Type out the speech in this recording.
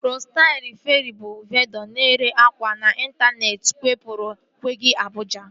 Ristail Feerị bụ vendọ na-ere akwa n'intaneeti kewapụrụ kwaga Abụja